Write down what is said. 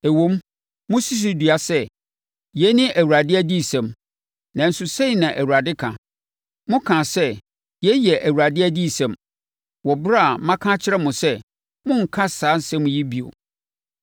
Ɛwom, mosi so dua sɛ, ‘Yei ne Awurade adiyisɛm’ nanso sei na Awurade ka: Mokaa sɛ, ‘Yei yɛ Awurade adiyisɛm,’ wɔ ɛberɛ a maka akyerɛ mo sɛ monnka saa nsɛm yi bio.